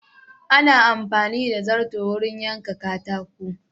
Ana amfani da zarton wurin yaka katako.